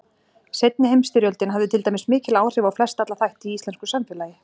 Seinni heimsstyrjöldin hafði til dæmis mikil áhrif á flest alla þætti í íslensku samfélagi.